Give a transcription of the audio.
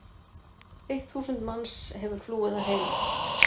Eitt þúsund manns hefur flúið að heiman.